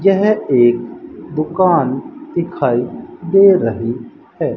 यह एक दुकान दिखाई दे रही है।